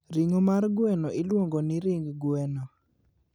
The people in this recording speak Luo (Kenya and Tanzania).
Ring'o mar gweno iluongo ni ring gwen.